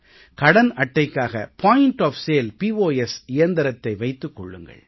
கடன் மற்றும் பற்று அட்டைகளின் பரிவர்த்தனைகளுக்கான விற்பனை முக பாயிண்ட் ஒஃப் சேல் இயந்திரத்தை வைத்துக் கொள்ளுங்கள்